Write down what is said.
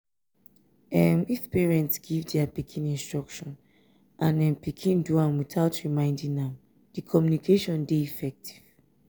um if parents give their pikin instruction and um pikin do am without reminding am di communication de effective